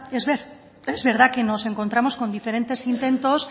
es verdad que nos encontramos con diferentes intentos